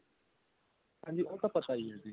ਹਾਂਜੀ ਉਹ ਤਾਂ ਪਤਾ ਹੀ ਹੈ ਜੀ